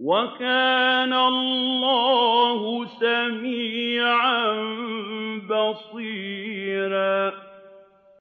وَكَانَ اللَّهُ سَمِيعًا بَصِيرًا